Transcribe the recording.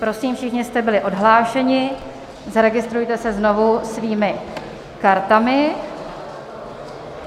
Prosím, všichni jste byli odhlášeni, zaregistrujte se znovu svými kartami.